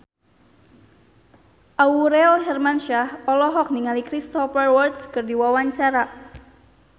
Aurel Hermansyah olohok ningali Cristhoper Waltz keur diwawancara